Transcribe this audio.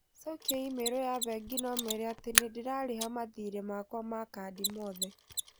Cokia i-mīrū ya bengi na ũmeere atĩ nĩ ndĩrarĩha mathiirĩ makwa ma kandi mothe.